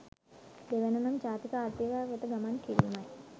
දෙවැන්න නම් ජාතික ආර්ථිකයක් වෙත ගමන් කිරීමයි.